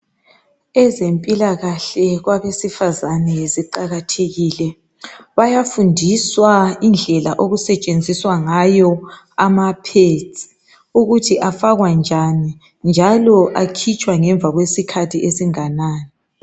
Ezempilakahle kwabesifazane ziqakathekile, bayafundiswa indlela okusetshenziswa ngayo ama pads ukuthi afakwa njani njalo akhitshwa ngemva kwesikhathi esinganani